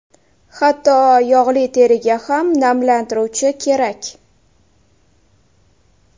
Hatto yog‘li teriga ham namlantiruvchi kerak.